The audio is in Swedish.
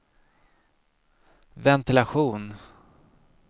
ventilation